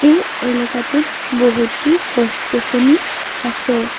এই এলেকাটোত বহুতো গছ গছনি আছে।